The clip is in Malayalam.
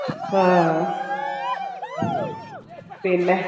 ആഹ് പിന്നെ